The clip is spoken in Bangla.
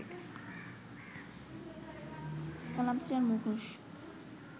স্কাল্পচার, মুখোশ